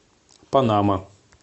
панама